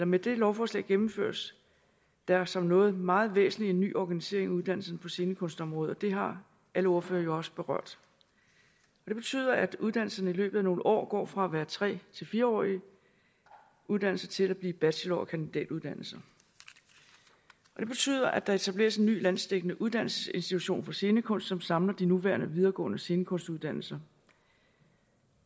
med dette lovforslag gennemføres der som noget meget væsentligt en ny organisering af uddannelserne på scenekunstområdet og det har alle ordførere jo også berørt det betyder at uddannelserne i løbet af nogle år går fra at være tre til fire årige uddannelser til at blive bachelor og kandidatuddannelser og det betyder at der etableres en ny landsdækkende uddannelsesinstitution for scenekunst som samler de nuværende videregående scenekunstuddannelser